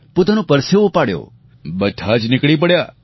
પોતાનો પરસેવો પાડ્યો બધાં જ નીકળી પડ્યા